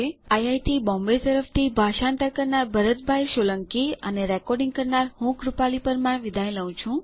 IIT Bombay તરફથી ભાષાંતર કરનાર હું ભરત સોલંકી વિદાય લઉં છું